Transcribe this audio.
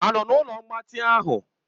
Ha nọ na ụlọ mgbatị ahụ?